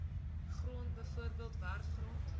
grond bv werfgrond